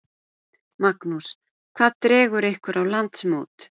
Magnús: Hvað dregur ykkur á landsmót?